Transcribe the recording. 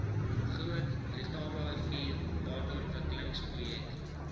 groot letabarivier waterontwikkelingsprojek